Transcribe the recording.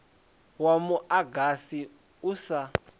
wa mu agasi u sa